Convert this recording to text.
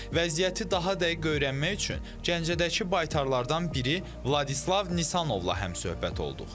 Vəziyyəti daha dəqiq öyrənmək üçün Gəncədəki baytarlardan biri Vladislav Nisanovla həmsöhbət olduq.